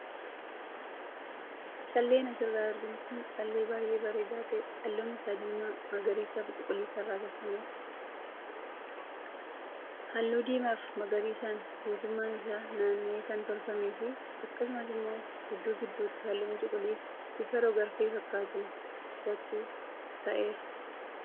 Calleen asirraa arginu kun callee baayee bareedaa tahee halluun isaas diimaa, magariisaa fi cuquliisa irraa tolfamedha. Halluu diimaa fi magariisaan guutummaan isaa naanna'ee kan tolfamee fi akkasuma immoo gidduu gidduutti halluun cuquliisaa bifa rog-arfee fakkaatuun irratti ka'eera.